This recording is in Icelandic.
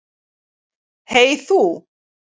Hey þú.